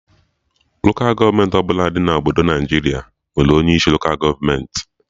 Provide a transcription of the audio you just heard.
Lokal gọọmenti ọbụla dị na Obodo Naịjiria nwere onye isi Lokal gọọmenti